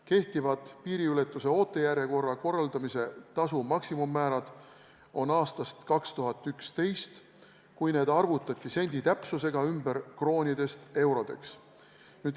Kehtivad piiriületuse ootejärjekorra korraldamise tasu maksimummäärad on aastast 2011, kui need arvutati sendi täpsusega ümber kroonidest eurodeks.